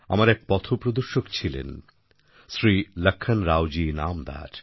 আমার এক পথপ্রদর্শক ছিলেন শ্রী লক্ষণরাও জী ইনামদার